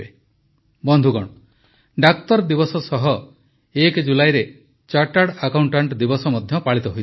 ବନ୍ଧୁଗଣ ଡାକ୍ତର ଦିବସ ସହ ୧ ଜୁଲାଇରେ ଚାର୍ଟାର୍ଡ ଆକାଉଂଟାଂଟ ଦିବସ ମଧ୍ୟ ପାଳିତ ହୋଇଥାଏ